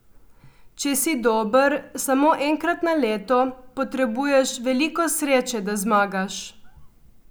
Če si dober samo enkrat na leto, potrebuješ veliko sreče, da zmagaš.